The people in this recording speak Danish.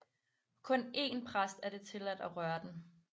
Kun én præst er det tilladt at røre den